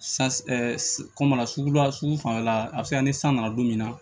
kɔma sugu la sugu fanfɛla a bɛ se ka ni san nana don min na